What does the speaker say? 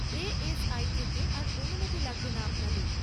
ASI থেকে আর অনুমতি লাগবে না আপনাদের।